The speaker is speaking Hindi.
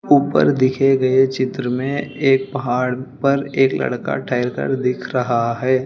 ऊपर देखे गए चित्र में एक पहाड़ पर एक लड़का टहल कर दिख रहा है।